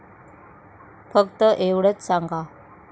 फक्त एवढेच सांगा.